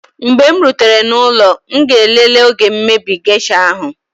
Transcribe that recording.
mgbe m rutere n'ụlọ m ga-elele oge mmebi geisha ahu